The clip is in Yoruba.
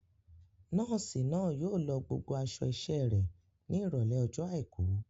Nọ́ọ̀sì náà yóò lọ gbogbo àwọn aṣọ iṣẹ́ rẹ̀ ní Ìrọ̀lẹ́ ọjọ́ àìkú.